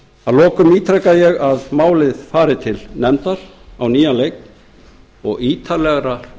að lokum ítreka ég að málið fari til nefndar á nýjan leik og ítarlegrar